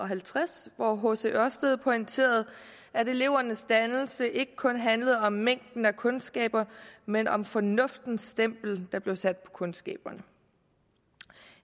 halvtreds hvor hc ørsted pointerede at elevernes dannelse ikke kun handlede om mængden af kundskaber men om fornuftens stempel der blev sat på kundskaberne